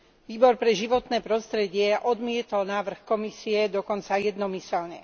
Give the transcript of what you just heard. Výbor pre životné prostredie odmietol návrh Komisie dokonca jednomyseľne.